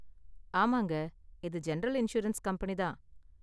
ஆமாங்க, இது general insurance company தான்.